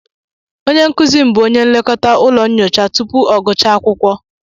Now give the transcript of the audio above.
Onye nkuzi m bụ onye nlekọta ụlọ nyocha tupu ọ gụchaa akwụkwọ